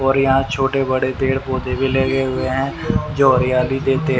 और यहां छोटे बड़े पेड़ पौधे भी लगे हुए हैं जो हरियाली देते--